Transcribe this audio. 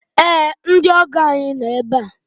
Ee! Ndị ọgọ ànyị no ebe a.